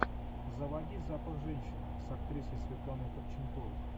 заводи запах женщины с актрисой светланой ходченковой